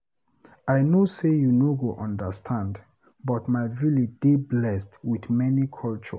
I no say you no go understand but my village dey blessed with many culture.